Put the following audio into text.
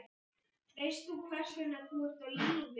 Veist þú hvers vegna þú ert á lífi?